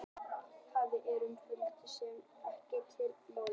málmleysingjar eru frumefni sem teljast ekki til málma